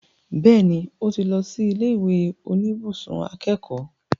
Bẹ́ẹ̀ni, ó ti lọ sí ilé ìwé oníbùsùn akẹ́kọ̀ọ́